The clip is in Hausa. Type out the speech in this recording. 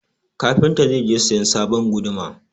Kafinta zai je sayan sabon guduma.